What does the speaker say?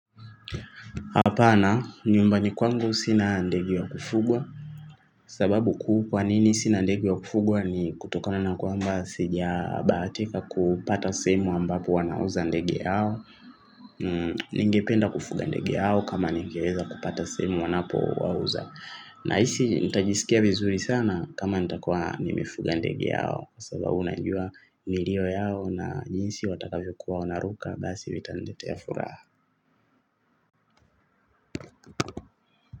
Hapana nyumbani kwangu sina ndege wa kufugwa. Sababu kuu kwa nini sina ndege wa kufugwa ni kutokana na kwamba sija bahatika kupata sehemu ambapo wanauza ndege yao. Ningependa kufuga ndege yao kama ningeweza kupata semu wanapo wauza. Nahisi nitajisikia vizuri sana kama nitakuwa nimefuga ndege yao. Sababu najua milio yao na jinsi watakavyokuwa wanaruka basi hiyo itaneletea furaha.